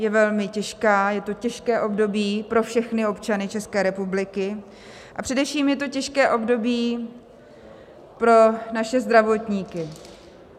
Je velmi těžká, je to těžké období pro všechny občany České republiky, a především je to těžké období pro naše zdravotníky.